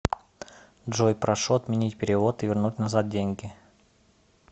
джой прошу отменить перевод и вернуть назад деньги